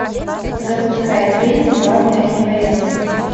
запускай фильм главное не бояться